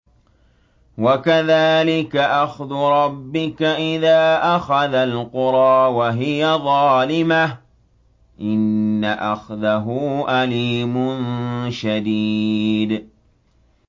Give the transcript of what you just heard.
وَكَذَٰلِكَ أَخْذُ رَبِّكَ إِذَا أَخَذَ الْقُرَىٰ وَهِيَ ظَالِمَةٌ ۚ إِنَّ أَخْذَهُ أَلِيمٌ شَدِيدٌ